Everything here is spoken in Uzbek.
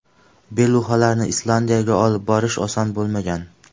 Beluxalarni Islandiyaga olib borish oson bo‘lmagan.